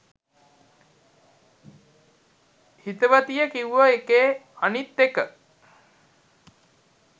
හිතවතිය කිව්ව එකේ අනිත් එක